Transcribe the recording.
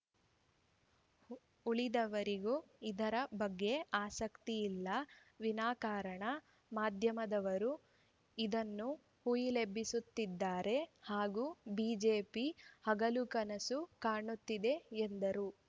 ಉಳಿದವರಾರಿಗೂ ಇದರ ಬಗ್ಗೆ ಆಸಕ್ತಿಯಿಲ್ಲ ವಿನಾಕಾರಣ ಮಾಧ್ಯಮದವರೂ ಇದನ್ನು ಹುಯಿಲೆಬ್ಬಿಸುತ್ತಿದ್ದಾರೆ ಹಾಗೂ ಬಿಜೆಪಿ ಹಗಲುಕನುಸು ಕಾಣುತ್ತಿದೆ ಎಂದರು